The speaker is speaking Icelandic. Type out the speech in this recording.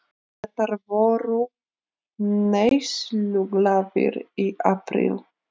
Bretar voru neysluglaðir í apríl